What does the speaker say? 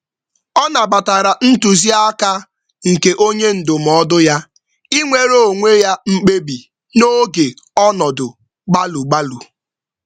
Ọ nabatara ntụziaka nke onye ndụmọdụ ya, ịnwere onwe ya mkpebi n'oge ọnọdụ gbalụ-gbalụ